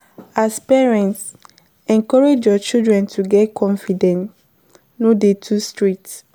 As parent, encourage your children to get confidence no dey too strict